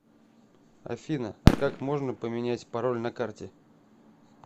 афина а как можно поменять пароль на карте